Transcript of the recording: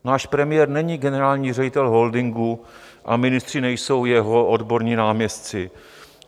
Náš premiér není generální ředitel holdingu a ministři nejsou jeho odborní náměstci.